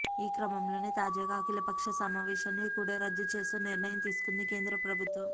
ఈ క్రమంలోనే తాజాగా అఖిలపక్ష సమావేశాన్ని కూడా రద్దు చేస్తూ నిర్ణయం తీసుకుంది కేంద్ర ప్రభుత్వం